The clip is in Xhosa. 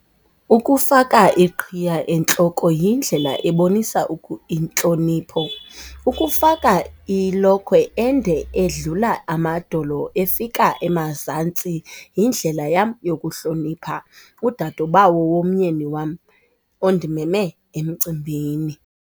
Ukufaka iqhiya entloko yindlela ebonisa intlonipho, ukufaka ilokhwe ende edlula amadolo efika emazantsi yindlela yam yokuhlonipha udadobawo womyeni wam ondimeme emcimbini.